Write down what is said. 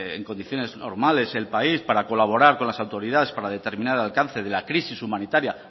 en condiciones normales el país para colaborar con las autoridades para determinar el alcance de la crisis humanitaria